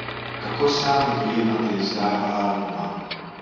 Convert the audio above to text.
Kako sami dojemate izdajo albuma?